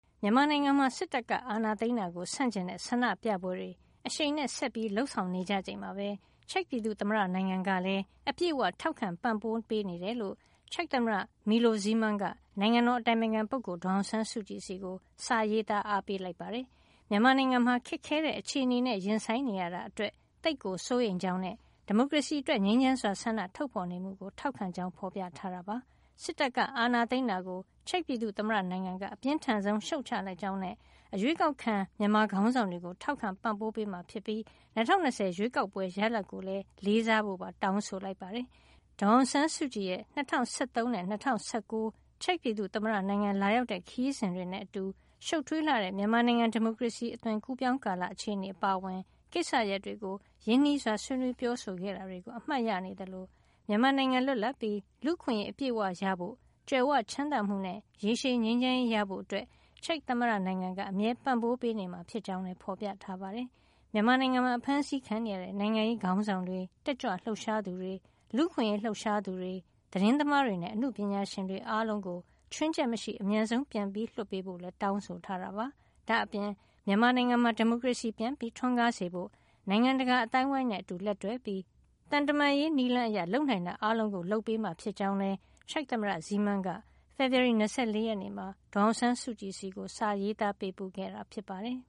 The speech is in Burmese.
မြန်မာနိုင်ငံမှာ စစ်တပ်က အာဏာသိမ်းတာကို ဆန့်ကျင်တဲ့ ဆန္ဒပြပွဲတွေ အရှိန်နဲ့ ဆက်လက်လုပ်ဆောင်နေကြချိန်မှာပဲ ချက်ပြည်သူ့သမ္မတ နိုင်ငံကလည်း အပြည့်အဝ ထောက်ခံပံ့ပိုးပေးနေကြောင်း ချက်သမ္မတ Milos Zeman က နိုင်ငံတော် အတိုင်ပင်ခံ ဒေါ်ဆောင်ဆန်းစုကြည် ဆီကို စာရေးသား အားပေးလိုက်ပါတယ်။ မြန်မာနိုင်ငံမှာ အင်မတန်ခက်ခဲတဲ့ အခြေနေနဲ့ ရင်ဆိုင်နေရတာအတွက် သိပ်ကိုစိုးရိမ်ကြောင်းနဲ့ ဒီမိုကရေစီအတွက် ငြိမ်းချမ်းစွာဆန္ဒထုတ်ဖေါ်နေမှုကို ထောက်ခံကြောင်း ဖေါ်ပြထားတာပါ။ စစ်တပ်ကအာဏာသိမ်းတာကို ချက်ပြည်သူ့သမ္မတနိုင်ငံက အပြင်းထန်ဆုံး ရှုတ်ချလိုက်ကြောင်းနဲ့ အရွေးကောက်ခံမြန်မာခေါင်းဆောင်တွေကို ထောက်ခံပံပိုးမှာဖြစ်ပြီး ၂၀၂၀ ရွေးကောက်ပွဲရလဒ်ကို လေးစားဖို့လည်း တောင်းဆိုလိုက်ပါတယ်။ ဒေါ်အောင်ဆန်းစုကြည်ရဲ့ ၂၀၁၃ နဲ့ ၂၀၁၉ ချက်ပြည်သူ့သမ္မတနိုင်ငံကို လာရောက်တဲ့ ခရီးစဉ်တွေနဲ့ အတူ ရှုပ်ထွေးလှတဲ့ မြန်မာနိုင်ငံ ဒီမိုကရေစီ အကူးအပြောင်းကာလ အခြေနေအပါအဝင် ကိစ္စရပ်တွေကို ရင်းနှီးစွာ ဆွေးနွေးပြောဆိုခဲ့တာတွေကို အမှတ်ရနေသလို မြန်မာနိုင်ငံ လွတ်လပ်ပြီး လူ့အခွင့်ရေးအပြည့်အဝရဖို့ ကြွယ်ဝချမ်းသာမှုနဲ့ ရေရှည်ငြိမ်းချမ်းရေးရဖို့ ချက်ပြည်သူ့သမ္မတနိုင်ငံက အမြဲပံ့ပိုးပေးနေမှာဖြစ်ကြောင်းလည်း ဖေါ်ပြထားပါတယ်။ မြန်မာနိုင်ငံမှာအဖမ်းဆီးခံနေရတဲ့ နိုင်ငံရေးခေါင်းဆောင်တွေ၊ တက်ကြွလှုပ်ရှားသူတွေ၊ လူ့အခွင့်ရေးလှုပ်ရှားသူတွေ၊ သတင်းသမားတွေနဲ့ အနုပညာရှင်တွေ အားလုံးကို ချွင်းချက်မရှိ အမြန်ပြန်လွှတ်ပေးဖို့လည်း တောင်းဆိုထားပါတယ်။ ဒါ့အပြင် မြန်မာနိုင်ငံမှာ ဒီမိုကရေစီပြန်ထွန်းကားစေဖို့ နိုင်ငံတကာအသိုင်းဝိုင်းတွေနဲ့ အတူလက်တွဲပြီး သံတမန်ရေးနည်းလမ်းအရ လုပ်နိုင်တာ အားလုံးကို လုပ်ဆောင်ပေးမှာ ဖြစ်ကြောင်းလည်း ချက်သမ္မတ ဇီးမန်းက ဖေဖေဝါရီလ ၂၄ ရက်နေ့မှာ ဒေါ်အောင်ဆန်းစုကြည်ဆီ စာပေးပို့ခဲ့တာ ဖြစ်ပါတယ်